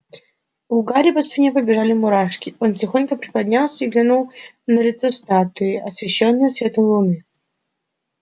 у гарри по спине побежали мурашки он тихонько приподнялся и глянул на лицо статуи освещённое светом луны